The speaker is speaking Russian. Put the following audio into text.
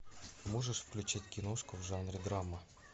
можешь включить киношку в жанре драма